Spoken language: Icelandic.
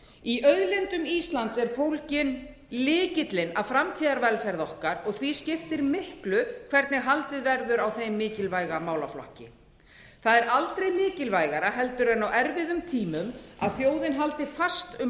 í auðlindum íslands er fólginn lykillinn að framtíðarvelferð okkar og því skiptir miklu hvernig haldið verður á þeim mikilvæga málaflokki það er aldrei mikilvægara en á erfiðum tímum að þjóðin haldi fast um